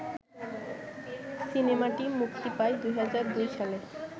সিনেমাটি মুক্তি পায় ২০০২ সালে